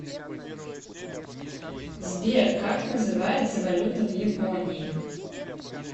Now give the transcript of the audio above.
сбер как называется валюта в японии